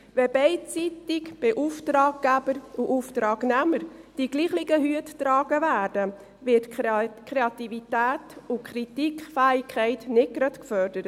Wenn beidseitig, bei Auftraggeber und Auftragnehmer, die gleichen Hüte getragen werden, werden Kreativität und Kritikfähigkeit nicht gerade gefördert.